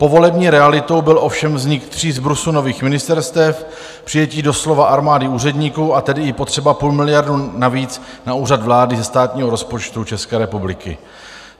Povolební realitou byl ovšem vznik tří zbrusu nových ministerstev, přijetí doslova armády úředníků, a tedy i potřeba půl miliardy navíc na Úřad vlády ze státního rozpočtu České republiky.